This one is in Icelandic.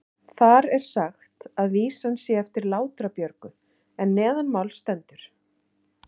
Þar er sagt að vísan sé eftir Látra-Björgu en neðanmáls stendur: